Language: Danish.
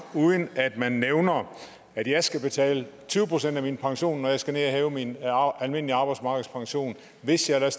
uden at man nævner at jeg skal betale tyve procent af min pension når jeg skal ned og hæve min almindelige arbejdsmarkedspension hvis jeg